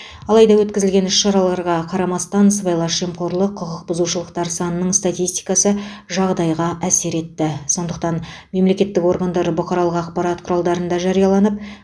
алайда өткізілген іс шараларға қарамастан сыбайлас жемқорлық құқық бұзушылықтар санының статистикасы жағдайға әсер етеді сондықтан мемлекеттік органдар бұқаралық ақпарат құралдарында жарияланып